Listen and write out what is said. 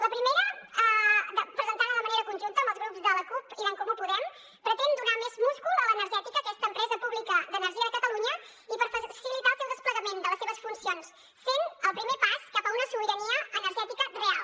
la primera presentada de manera conjunta amb els grups de la cup i d’en comú podem pretén donar més múscul a l’energètica aquesta empresa pública d’energia de catalunya i per facilitar el desplegament de les seves funcions sent el primer pas cap a una sobirania energètica real